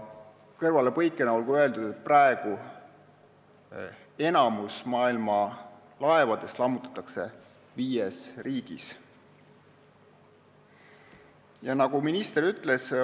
Kõrvalepõikena olgu öeldud, et praegu lammutatakse enamik maailma laevadest viies riigis.